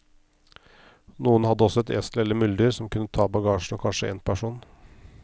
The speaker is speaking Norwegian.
Noen hadde også et esel eller muldyr som kunne ta bagasjen og kanskje én person.